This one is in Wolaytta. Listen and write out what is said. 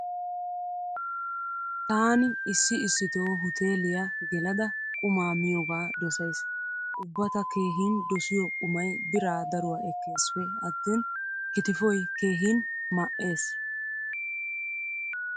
Taani issi issito huteeliya gelada qumaa miyogaa dosaysi. Ubba ta keehin dosiyo qumay biraa daruwa ekkeesippe attin kitifoy keehin ma"ees.